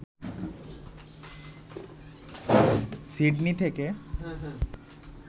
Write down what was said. Sydney থেকে